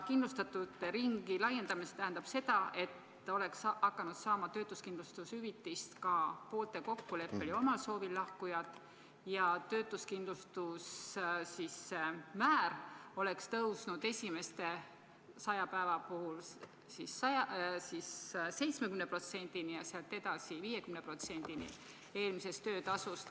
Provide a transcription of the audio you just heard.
Kindlustatute ringi laiendamine tähendab seda, et oleks hakanud saama töötuskindlustushüvitist ka poolte kokkuleppel ja omal soovil lahkujad, ja töötuskindlustuse määr oleks tõusnud esimese 100 päeva puhul 70%-ni ja sealt edasi 50%-ni eelnevast töötasust.